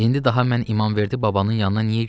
İndi daha mən İmamverdi babanın yanına niyə gedim?